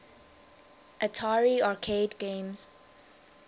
atari arcade games